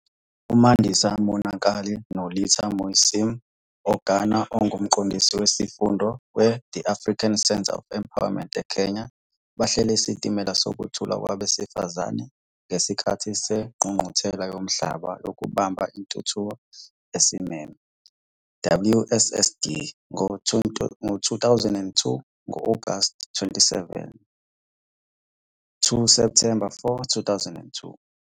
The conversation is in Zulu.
UMandisa Monakali noLitha Musyimi-Ogana onguMqondisi Wesifunda we-The African Centre for Empowerment eKenya bahlele iSitimela Sokuthula Kwabesifazane ngesikhathi seNgqungquthela Yomhlaba Yokubamba Intuthuko Esimeme, WSSD, ngo-2002, ngo-Agasti 27-Septhemba 4, 2002.